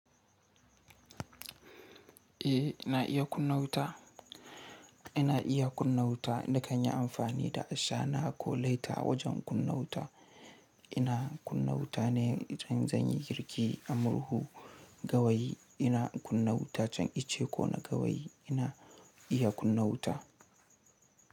Eh, ina iya kunna wuta. Ina iya kunna wuta na ka yi amfani da ashana ko laita wajen kunna wuta. Ina kunna wuta ne idan zan yi girki a murhu gawayi. Ina kunna wuta can ice ko na gawayi ina iya kunna wuta.